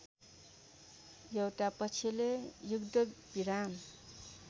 एउटा पक्षले युद्धविराम